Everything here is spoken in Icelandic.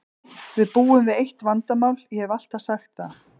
Við búum við eitt vandamál, ég hef alltaf sagt það.